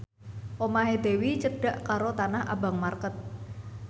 omahe Dewi cedhak karo Tanah Abang market